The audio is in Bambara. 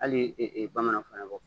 Hali bamananw fana bɔ